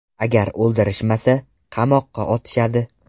Agar o‘ldirishmasa, qamoqqa otishadi.